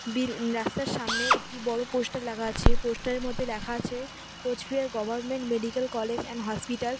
বিল রাস্তার সামনে একটি বড় পোস্টার লাগা আছে পোস্টার -এর মধ্যে ল্যাখা আছে Cooch Behar government medical college and hospital.